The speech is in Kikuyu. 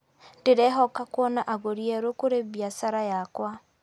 Ndĩrehoka kuona agũri erũ kũrĩ biacara yakwa.